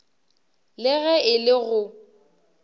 le ge e le go